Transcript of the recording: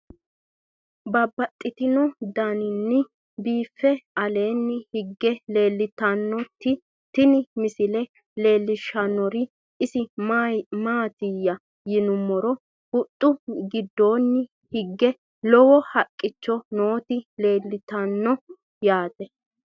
Babaxxittinno daninni biiffe aleenni hige leelittannotti tinni misile lelishshanori isi maattiya yinummoro huxxu gidoonni hige lowo haqicho nootti leelittanno yaatte